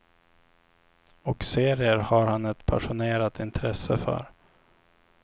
Och serier har han ett passionerat intresse för.